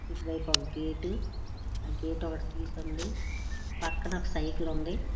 ఇటు వైపు ఒక గేటు ఆ గేటు ఒకటి తీసింది. పక్కన ఒక సైకిల్ ఉంది.